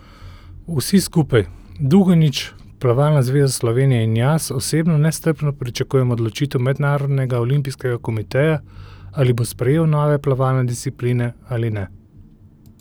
Vsi skupaj, Dugonjić, Plavalna zveza Slovenije in jaz osebno nestrpno pričakujemo odločitev Mednarodnega olimpijskega komiteja, ali bo sprejel nove plavalne discipline ali ne.